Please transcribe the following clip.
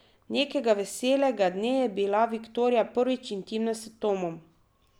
Nekega veselega dne je bila Viktorija prvič intimna s Tomom.